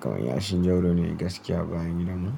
Kaman yashin Jauro ne gaskiya a bayan gidan mu.